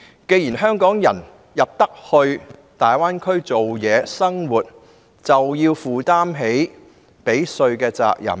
既然香港人進入大灣區工作和生活，便應負起繳稅的責任。